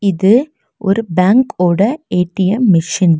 இது ஒரு பேங்க் ஓட ஏ_டி_எம் மெஷின் .